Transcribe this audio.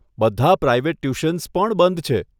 બધા private tuitions પણ બંધ છે.